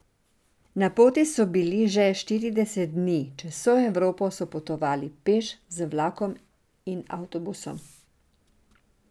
Na poti so bili že štirideset dni, čez vso Evropo so potovali peš, z vlakom in avtobusom.